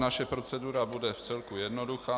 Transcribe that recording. Naše procedura bude vcelku jednoduchá.